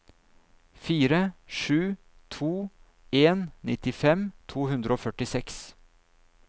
fire sju to en nittifem to hundre og førtiseks